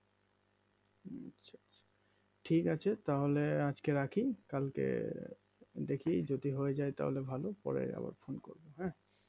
ঠিক আছে তাহলে আজকে রাখি কালকে দেখি যদি হয়ে যায় তাহলে ভালো পরে আবার ফোন করবো হ্যাঁ